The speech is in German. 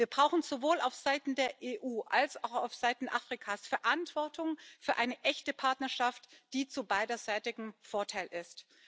Wir brauchen sowohl auf Seiten der EU als auch auf Seiten Afrikas Verantwortung für eine echte Partnerschaft, die zum beiderseitigen Vorteil ist.